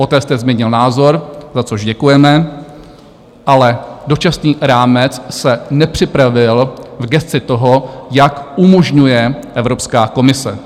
Poté jste změnil názor, za což děkujeme, ale dočasný rámec se nepřipravil v gesci toho, jak umožňuje Evropská komise.